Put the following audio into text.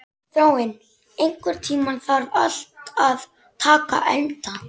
Þráinn, einhvern tímann þarf allt að taka enda.